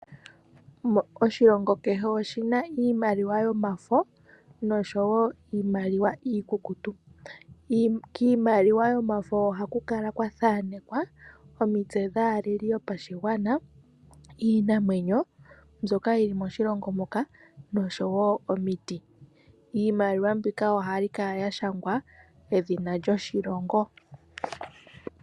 Oshilongo kehe oshina iimaliwa yomafo, noshowo iimaliwa iikukutu. Kiimaliwa yomafo ohaku kala kwa thaanekwa omitse dhaaleli yopashigwana, iinamwenyo mbyoka yili moshilongo moka, noshowo omiti. Iimaliwa mbika ohayi kala ya shangwa edhina lyoshilongo.